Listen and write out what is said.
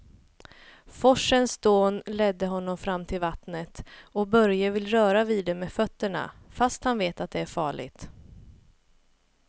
Forsens dån leder honom fram till vattnet och Börje vill röra vid det med fötterna, fast han vet att det är farligt.